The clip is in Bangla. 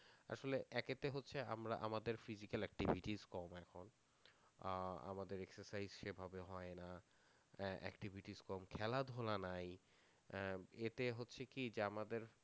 আসলে একেতে হচ্ছে আমরা আমাদের physical activities কম এখন আহ আমাদের exercise সেভাবে হয় না আহ activities কম খেলাধুলা নাই আহ এটাই হচ্ছে কি যে আমাদের